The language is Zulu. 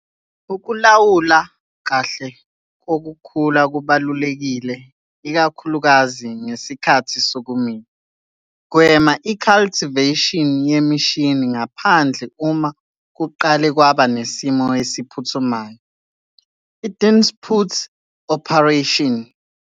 Ukulawulwa kahle kokhula kubalulekile ikakhulukazi ngesikhathi sokumila. Gwema i-cultivation yemishini ngaphandle uma kuqale kwaba nesimo esiphuthumayo 'i-duisendpoot' operation.